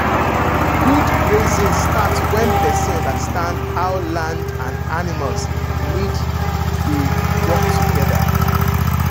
good grazing start when person understand how land and animals need dey work together.